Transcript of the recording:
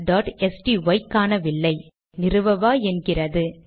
xcolorஸ்டை காணவில்லை நிறுவவா என்கிறது